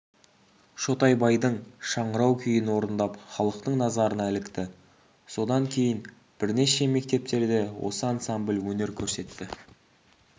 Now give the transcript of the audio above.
шотайбайдың шыңырау күйін орындап халықтың назарына ілікті содан кейін бірнеше мектептерде осы ансамбль өнер көрсетті